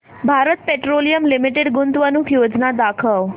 Bharat Petroleum Limited गुंतवणूक योजना दाखव